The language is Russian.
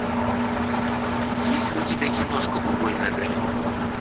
есть ли у тебя киношка убойный огонек